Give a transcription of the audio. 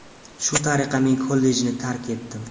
Shu tariqa men kollejni tark etdim.